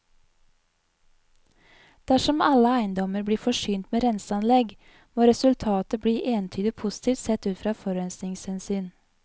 Dersom alle eiendommer blir forsynt med renseanlegg, må resultatet bli entydig positivt sett ut fra forurensningshensyn.